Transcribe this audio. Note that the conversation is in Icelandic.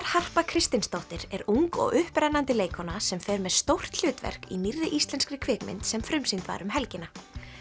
Harpa Kristinsdóttir er ung og upprennandi leikkona sem fer með stórt hlutverk í nýrri íslenskri kvikmynd sem frumsýnd var um helgina